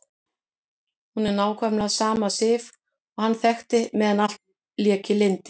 Hún er nákvæmlega sama Sif og hann þekkti meðan allt lék í lyndi.